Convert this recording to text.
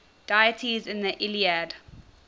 deities in the iliad